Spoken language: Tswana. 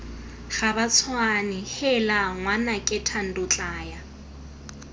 gabatshwane heela ngwanake thando tlaya